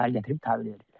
Səhər gətirib təhvil verirlər.